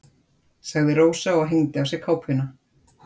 sagði Rósa og hengdi af sér kápuna.